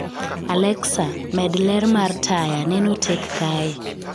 Alexa, med ler mar taya, neno tek kae